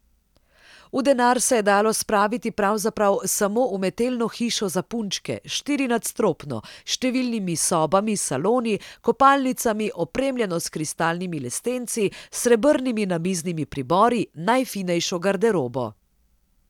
V denar se je dalo spraviti pravzaprav samo umetelno hišo za punčke, štirinadstropno, s številnimi sobami, saloni, kopalnicami, opremljeno s kristalnimi lestenci, srebrnimi namiznimi pribori, najfinejšo garderobo.